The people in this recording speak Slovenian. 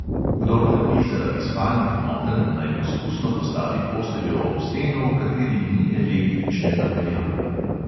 Kdor trpi zaradi spalnih motenj, naj poskusno postavi posteljo ob steno, v kateri ni električne napeljave.